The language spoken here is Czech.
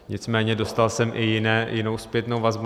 Nicméně dostal jsem i jinou zpětnou vazbu.